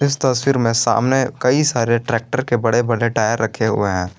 इस तस्वीर में सामने कई सारे ट्रैक्टर के बड़े बड़े टायर रखे हुए हैं।